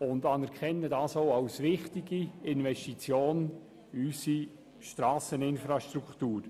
Dies anerkennen wir auch als wichtige Investition in unsere Strasseninfrastruktur.